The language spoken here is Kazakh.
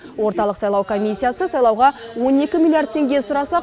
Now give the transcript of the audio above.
орталық сайлау комиссиясы сайлауға он екі миллиард теңге сұраса